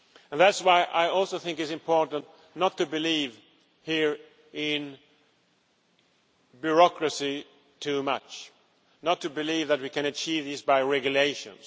And that is why I also think it is important not to believe here in bureaucracy too much, not to believe that we can achieve this by regulations.